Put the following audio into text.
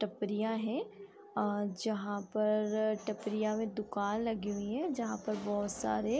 टपरियां है अ जहाँ पर टपरियां में दुकान लगे हुए है जहाँ पर बहुत सारे --